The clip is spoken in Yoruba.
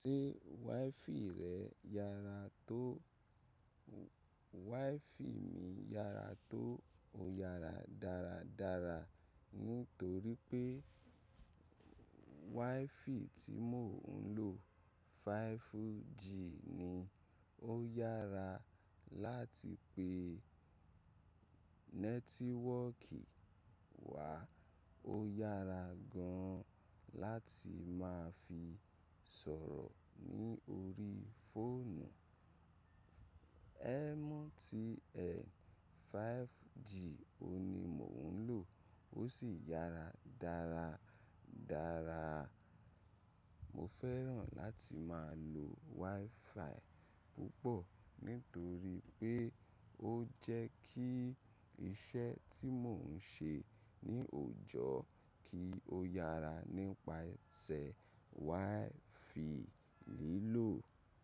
Ṣé WiFi rẹ yára tó? WiFi mi yára tó o yára dáradára nítorí pé WiFi tí mò ń lò 5G ni ó yára láti pè nẹ́tíwọ́ọ̀kì wa. Ó yára gan láti má fi sọ̀rọ̀ ní orí fóònù MTN 5G òun ní mò ń lò ó sì yára dáradára. Mo fẹ́ràn láti máa lo WiFi púpọ̀ nítorí pé ó jẹ́ kí iṣẹ́ tí mò ń ṣe ní òòjọ́ kí ó yára nípasẹ̀ WiFi lílò.